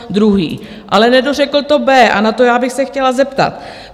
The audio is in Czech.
Ale nedořekl to B a na to já bych se chtěla zeptat.